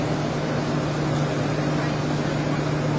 Doqquz min dörd yüz.